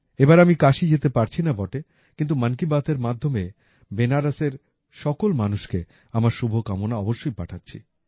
এবার আমি কাশী যেতে পারছি না বটে কিন্তু মন কী বাতের মাধ্যমে বেনারসের সকল মানুষকে আমার শুভকামনা অবশ্যই পাঠাচ্ছি